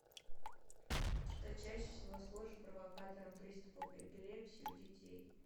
что чаще всего служит провокатором приступов эпилепсии у детей